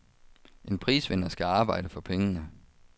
En prisvinder skal arbejde for pengene.